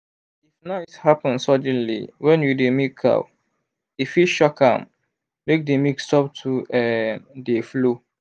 if noise happen suddenly when you dey milk cow e fit shock am make the milk stop to um dey flow.